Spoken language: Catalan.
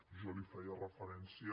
jo hi feia referència